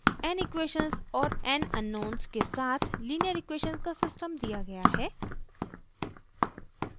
n equations और n unknown के साथ लीनियर इक्वेशन का सिस्टम दिया गया है